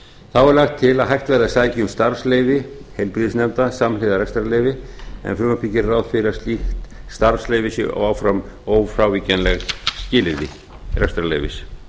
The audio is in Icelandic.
þá er lagt til að hægt verði að sækja um starfsleyfi heilbrigðisnefnda samhliða rekstrarleyfi en frumvarpið gerir ráð fyrir að slíkt starfsleyfi sé áfram ófrávíkjanlegt skilyrði rekstrarleyfis